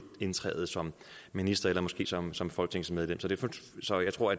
indtræde som minister eller måske som som folketingsmedlem så jeg tror